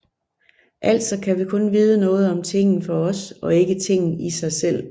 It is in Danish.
Altså kan vi kun vide noget om tingen for os og ikke tingen i sig selv